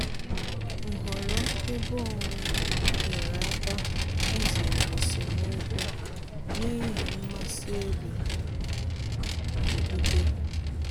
Nhọrọ ebe onwe nyere aka izere esemokwu n'ihi mmasị ebe okpukpe